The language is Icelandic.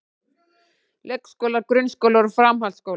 Leikskólar, grunnskólar og framhaldsskólar.